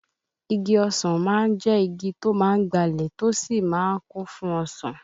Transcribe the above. Igi ọsàn má ń jẹ́ igi tó má ń gbalẹ̀ tí ó sì má ń kún fún ọsàn